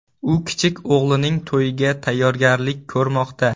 U kichik o‘g‘lining to‘yiga tayyorgarlik ko‘rmoqda.